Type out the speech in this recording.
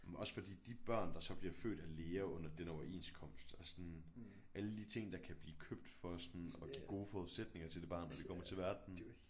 Men også fordi de børn der så bliver født af læger under den overenskomst er sådan alle de ting der kan blive købt for sådan at give gode forudsætninger til det barn når det kommer til verden